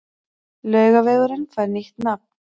Laugavegurinn fær nýtt nafn